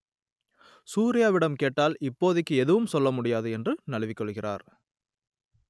சூர்யாவிடம் கேட்டால் இப்போதைக்கு எதுவும் சொல்ல முடியாது என்று நழுவிக் கொள்கிறார்